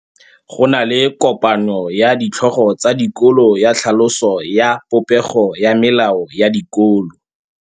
Go na le kopanô ya ditlhogo tsa dikolo ya tlhaloso ya popêgô ya melao ya dikolo.